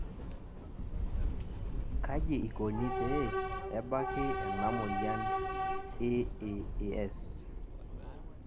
kaji ikoni pee ebaki ena moyian AAAS?